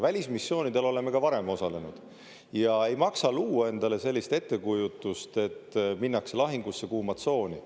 Välismissioonidel oleme ka varem osalenud, ja ei maksa luua endale sellist ettekujutust, et minnakse lahingusse kuuma tsooni.